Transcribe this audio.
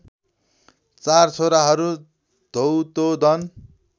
चार छोराहरू धौतोदन